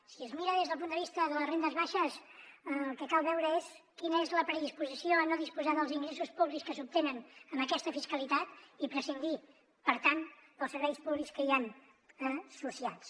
si es mira des del punt de vista de les rendes baixes el que cal veure és quina és la predisposició a no disposar dels ingressos públics que s’obtenen amb aquesta fiscalitat i prescindir per tant dels serveis públics que hi han associats